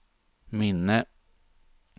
minne